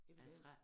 Af træ